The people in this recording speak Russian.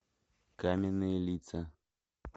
каменные лица